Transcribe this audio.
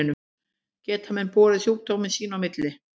Geta menn borið sjúkdóminn sín á milli?